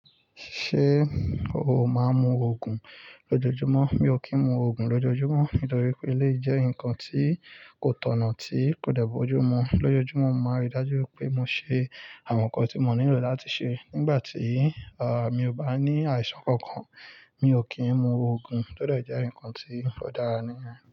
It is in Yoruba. Ṣé o máa ń mu Ògùn lójoojúmọ́? Mi ò kí ń mu Ògùn lójoojúmọ́ nítorí pé eléyi jẹ́ ǹkan tí kò tọ̀nà tí kò dẹ̀ bojú mu. Lójojúmọ́, mo máa rí dájú wipé mo ṣe àwọn ǹkan tí mo nílò láti ṣe. Nígbà tí, à, mi ò bá ní àìsàn kankan, mi ò kí ń mu Ògùn. Ó de jẹ́ ǹkan tí ò dára nìyẹn.